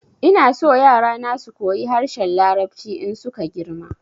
Ina so yara na su koyi harshen larabci in su ka girma